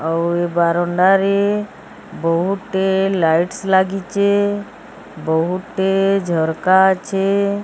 ଆଉ ଏ ବାରଣ୍ଡାରେ ବହୁଟେ ଲାଇଟ୍ସ୍ ଲାଗିଛେ ବହୁଟେ ଝରକା ଅଛେ।